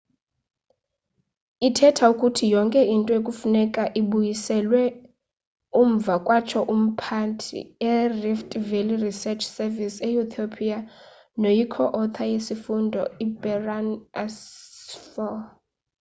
ithetha ukuthi yonke into kufuneka ibuyiselwe umva kwatsho umphandi e-rift valley research service e-ethiopia noyi co-author yesifundo berhane asfaw